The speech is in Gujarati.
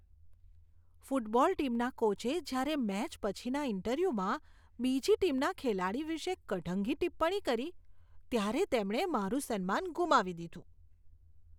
ફૂટબોલ ટીમના કોચે જ્યારે મેચ પછીના ઇન્ટરવ્યૂમાં બીજી ટીમના ખેલાડી વિશે કઢંગી ટિપ્પણી કરી, ત્યારે તેમણે મારું સન્માન ગુમાવી દીધું.